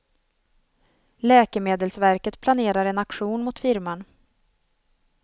Läkemedelsverket planerar en aktion mot firman.